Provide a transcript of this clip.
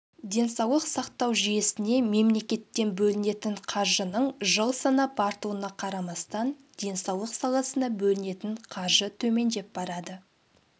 денсаулық сақтау жүйесіне мемлекеттен бөлінетін қаржының жыл санап артуына қарамастан денсаулық саласына бөлінетін қаржы төмендеп барады